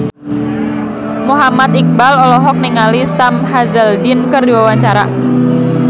Muhammad Iqbal olohok ningali Sam Hazeldine keur diwawancara